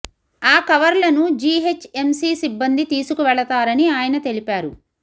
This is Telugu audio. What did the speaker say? ఆ కవర్లను జీ హెచ్ ఎంసీ సిబ్బంది తీసుకువెళతారని ఆయన తెలిపారు